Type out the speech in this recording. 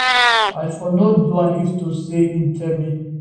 i for no do am if to say im tell me